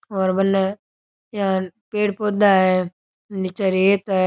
और बने इया पेड़ पौधा है निचे रेत है।